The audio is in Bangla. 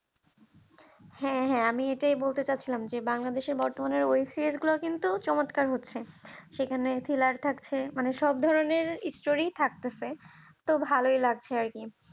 হ্যাঁ হ্যাঁ আমি এটাই বলতে চাচ্ছিলাম যে বাংলাদেশে বর্তমানের web series গুলি কিন্তু চমতকার হচ্ছে সেখানে thriller থাকছে মানে সব ধরনের story থাকতেছে তো ভালোই লাগছে আর কি